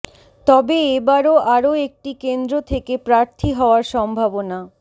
তবে এ বারও আরও একটি কেন্দ্র থেকে প্রার্থী হওয়ার সম্ভাবনা